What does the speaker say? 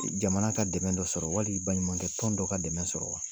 Jamana ka dɛmɛ dɔ sɔrɔ wali baɲumankɛɛtɔn dɔ ka dɛmɛ sɔrɔ wa?